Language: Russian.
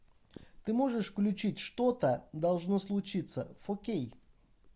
ты можешь включить что то должно случиться фо кей